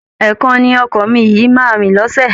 Ẹ̀ẹ̀kan ni ọkọ̀ omi yìí máa rìn lọ́sẹ̀